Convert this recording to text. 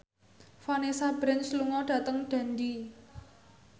Vanessa Branch lunga dhateng Dundee